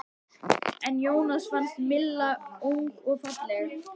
En Jónsa fannst Milla ung og falleg.